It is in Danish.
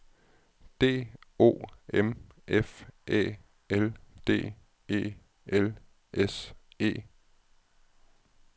D O M F Æ L D E L S E